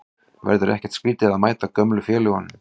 Verður ekkert skrítið að mæta gömlu félögunum?